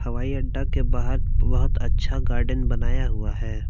हवाई अड्डा के बाहर बहुत अच्छा गार्डेन बनाया हुआ है।